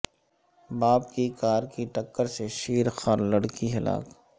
باپ کی کار کی ٹکر سے شیرخوار لڑکی ہلاک